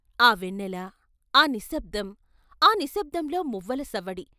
ఆ వెన్నెల ఆ నిశ్శబ్దం, ఆ నిశ్శబ్దంలో మువ్వల సవ్వడి.